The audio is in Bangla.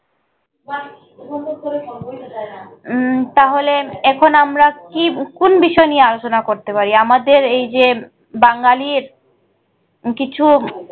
উম তাহলে এখন আমরা কি কুন বিষয় নিয়ে আলোচনা করতে পারি আমাদের এই যে বাঙালীর কিছু।